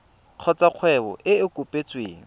kgotsa kgwebo e e kopetsweng